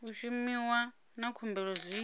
u shumiwa na khumbelo zwi